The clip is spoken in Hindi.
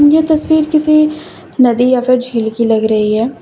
ये तस्वीर किसी नदी या फिर झील की लग रही है।